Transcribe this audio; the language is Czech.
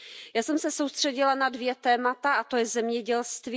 Já jsem se soustředila na dvě témata, a to je zemědělství.